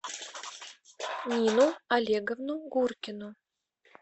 нину олеговну гуркину